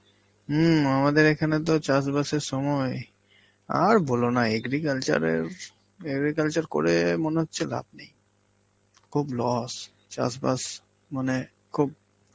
হম আমাদের এখানে তো চাষবাসের সময়, আর বলো না agriculture এর~ agriculture পড়ে মনে হচ্ছে লাভ নেই. খুব loss চাষবাস মানে খুব